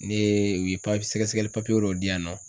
Ne ye u ye papiy sɛgɛsɛgɛli papiye dɔ di yan nɔ.